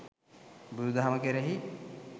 බුදු දහම කෙරෙහි